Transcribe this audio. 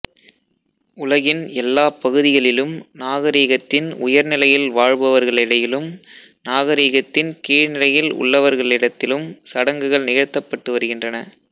உலகின் எல்லாப் பகுதிகளிலும் நாகரிகத்தின் உயர் நிலையில் வாழ்பவர்களிைடயிலும் நாகரிகத்தின் கீழ்நிைலயில் உள்ளவர்களிடத்திலும் சடங்குகள் நிகழ்த்தப்பட்டு வருகின்றன